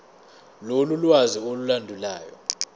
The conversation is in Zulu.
lolu lwazi olulandelayo